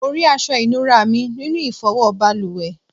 Mó rí aṣọ inura mí nínú ifowo baluwe